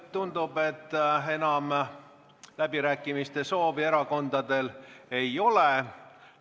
Tundub, et enam läbirääkimiste soovi erakondadel ei ole.